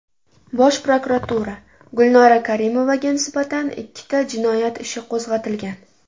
Bosh prokuratura: Gulnora Karimovaga nisbatan ikkita jinoyat ishi qo‘zg‘atilgan .